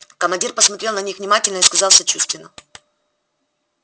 командир посмотрел на них внимательно и сказал сочувственно